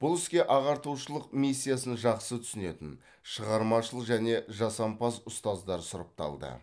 бұл іске ағартушылық миссиясын жақсы түсінетін шығармашыл және жасампаз ұстаздар сұрапталды